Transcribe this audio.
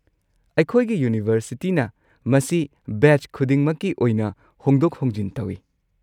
ꯑꯩꯈꯣꯏꯒꯤ ꯌꯨꯅꯤꯚꯔꯁꯤꯇꯤꯅ ꯃꯁꯤ ꯕꯦꯆ ꯈꯨꯗꯤꯡꯃꯛꯀꯤ ꯑꯣꯏꯅ ꯍꯣꯡꯗꯣꯛ-ꯍꯣꯡꯖꯤꯟ ꯇꯧꯏ꯫